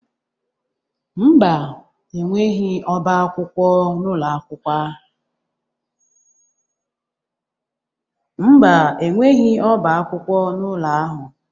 Mba, enweghị ọbá akwụkwọ n'ụlọ akwụkwọ ahụ